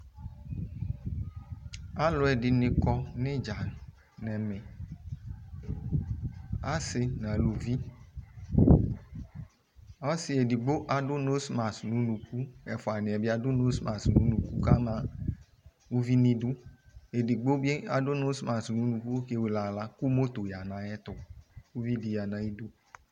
umolisi kikadilanutɛ alʋdu omolisie kpe kpe kpee aluwani lɛ asii akebo omolisielidu ataniadu awʋnuli adikaluia ɛdini akɔ ɛkʋdu nɛlʋ ɛdinibi akɔ kataya dunɛlʋ